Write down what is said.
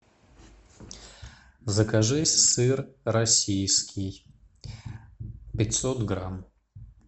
закажи сыр российский пятьсот грамм